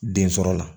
Den sɔrɔ la